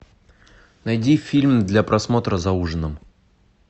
найди фильм для просмотра за ужином